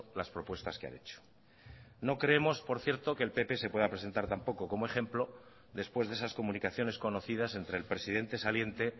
las propuestas que han hecho no creemos por cierto que el pp se pueda presentar tampoco como ejemplo después de esas comunicaciones conocidas entre el presidente saliente